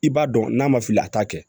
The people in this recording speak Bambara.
I b'a dɔn n'a ma fili a t'a kɛ